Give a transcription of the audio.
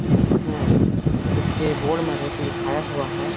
जिसमें इसके बोर्ड में एक लिखाया हुआ है।